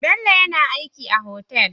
Bello yAna aiki a hotel